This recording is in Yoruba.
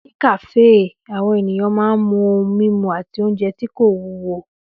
Ní kàáfè, àwọn èèyàn máa n mu ohun mímu àti oúnjẹ tí kò wúwo